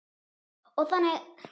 Og þannig.